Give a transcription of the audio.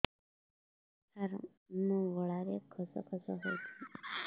ସାର ମୋ ଗଳାରେ ଖସ ଖସ ହଉଚି